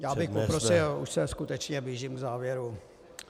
Já bych poprosil, už se skutečně blížím k závěru.